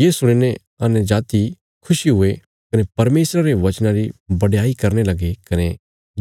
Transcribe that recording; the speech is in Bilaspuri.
ये सुणी ने अन्यजातियां खुशी हुये कने परमेशरा रे वचना री बडयाई करने लगे कने